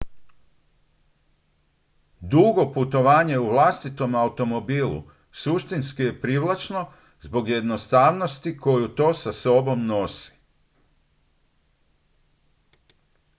dugo putovanje u vlastitom automobilu suštinski je privlačno zbog jednostavnosti koju to sa sobom nosi